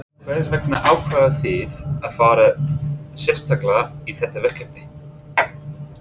Hvers vegna ákváðu þið að fara sérstaklega í þetta verkefni?